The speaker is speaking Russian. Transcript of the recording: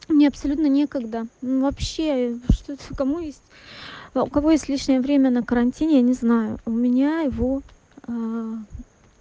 мне абсолютно некогда вообще что-то кому есть у кого есть личное время на карантине я не знаю у меня его